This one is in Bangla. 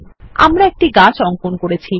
আমরা একটি গাছ অঙ্কন করেছি160